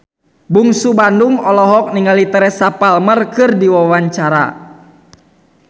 Bungsu Bandung olohok ningali Teresa Palmer keur diwawancara